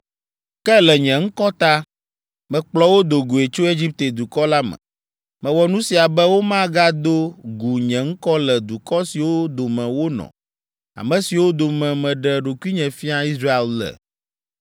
Ke le nye ŋkɔ ta, mekplɔ wo do goe tso Egipte dukɔ la me. Mewɔ nu sia be womagado gu nye ŋkɔ le dukɔ siwo dome wonɔ, ame siwo dome meɖe ɖokuinye fia Israel le.